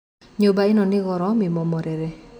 Nyũmba ĩno nĩngũrũ mĩmomore